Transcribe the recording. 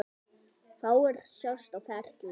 Fáir sjást á ferli.